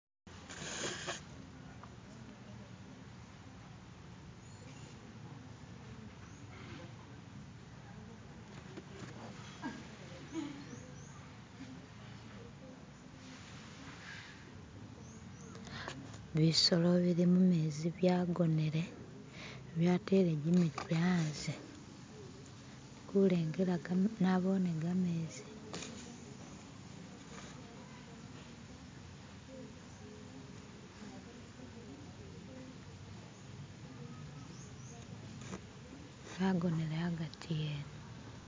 Bisolo bili mumenzi byagonele byatele jimitwe anze. Ndikulengela.. nabone gamezi... Zagonele agati wene